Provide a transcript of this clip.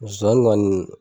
Zonzani kɔni